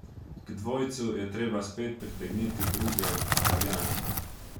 K dvojcu je treba spet pritegniti druge, Italijane.